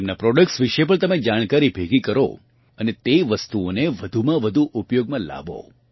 તેમનાં પ્રોડક્ટ્સ વિશે પણ તમે જાણકારી ભેગી કરો અને તે વસ્તુઓને વધુમાં વધુ ઉપયોગમાં લાવો